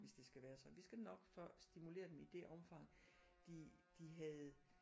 Hvis det skal være sådan vi skal nok få stimuleret dem i det omfang de de havde